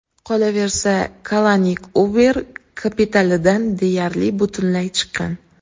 Qolaversa, Kalanik Uber kapitalidan deyarli butunlay chiqqan.